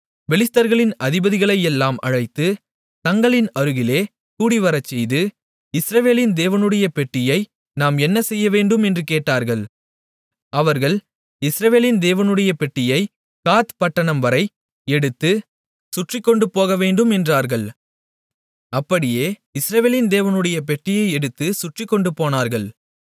பெலிஸ்தர்களின் அதிபதிகளையெல்லாம் அழைத்து தங்களின் அருகிலே கூடிவரச் செய்து இஸ்ரவேலின் தேவனுடைய பெட்டியை நாம் என்ன செய்யவேண்டும் என்று கேட்டார்கள் அவர்கள் இஸ்ரவேலின் தேவனுடைய பெட்டியை காத் பட்டணம்வரை எடுத்துச் சுற்றிக்கொண்டு போகவேண்டும் என்றார்கள் அப்படியே இஸ்ரவேலின் தேவனுடைய பெட்டியை எடுத்துச் சுற்றிக்கொண்டு போனார்கள்